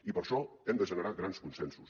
i per això hem de generar grans consensos